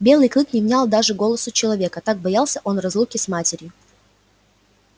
белый клык не внял даже голосу человека так боялся он разлуки с матерью